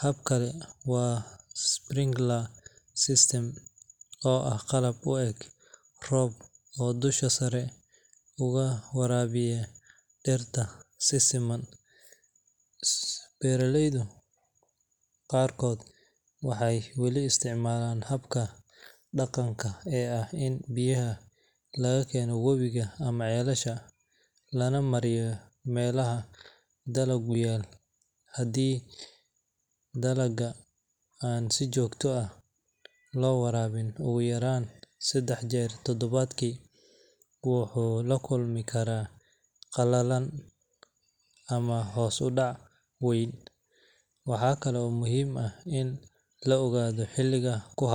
Hab kale waa sprinkler system, oo ah qalab u eg roob oo dusha sare uga waraabiya dhirta si siman. Beeraleyda qaarkood waxay weli isticmaalaan habka dhaqanka ee ah in biyaha laga keeno webiyada ama ceelasha, lana mariyo meelaha dalaggu yaal. Haddii dalagga aan si joogto ah loo waraabin ugu yaraan saddex jeer todobaadkii, wuxuu la kulmi karaa qalalay ama hoos u dhac weyn. Waxa kale oo muhiim ah in la ogaado xilliga ku habboon.